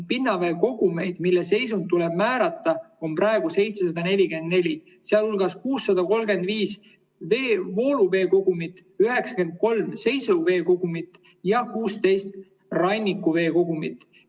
Pinnaveekogumeid, mille seisund tuleb määrata, on praegu 744, sealhulgas 635 vooluveekogumit, 93 seisuveekogumit ja 16 rannikuveekogumit.